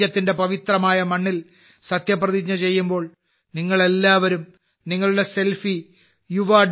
രാജ്യത്തിന്റെ പവിത്രമായ മണ്ണിൽ സത്യപ്രതിജ്ഞ ചെയ്യുമ്പോൾ നിങ്ങൾ എല്ലാവരും നിങ്ങളുടെ സെൽഫി yuva